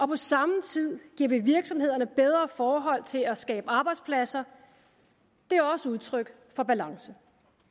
på samme tid giver vi virksomhederne bedre forhold til at skabe arbejdspladser det er også udtryk for balance